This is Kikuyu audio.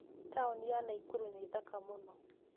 Taũni ya Nakuru nĩ thaka mũno.